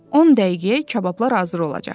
On dəqiqəyə kabablar hazır olacaq.